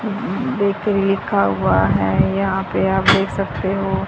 Bakery लिखा हुआ है यहां पे आप देख सकते हो।